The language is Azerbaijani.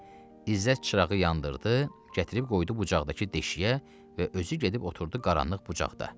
İzzət çırağı yandırdı, gətirib qoydu bucaqdakı deşiyə və özü gedib oturdu qaranlıq bucaqda.